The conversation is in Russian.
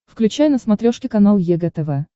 включай на смотрешке канал егэ тв